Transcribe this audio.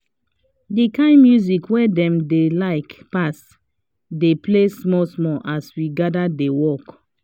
the kind music wey dem like pass dey play small small as we gather dey work